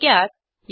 थोडक्यात